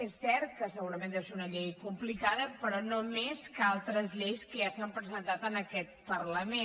és cert que segurament deu ser una llei complicada però no més que altres lleis que ja s’han presentat en aquest parlament